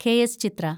K. S. Chithra